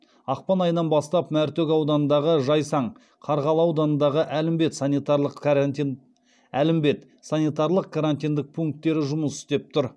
ақпан айынан бастап мәртөк ауданындағы жайсаң қарғалы ауданындағы әлімбет санитарлық карантиндік пункттері жұмыс істеп тұр